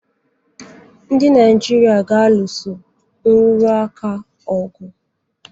Ndị Naịjirịa ga-alụso nrụrụ aka ọgụ.